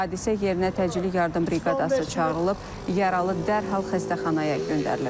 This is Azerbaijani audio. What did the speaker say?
Hadisə yerinə təcili yardım briqadası çağırılıb, yaralı dərhal xəstəxanaya göndərilib.